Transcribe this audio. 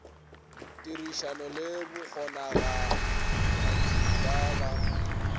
tirišano le bakgonagatši ba ba